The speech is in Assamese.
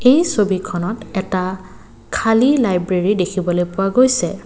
এই ছবিখনত এটা খালী লাইব্ৰেৰী দেখিবলৈ পোৱা গৈছে।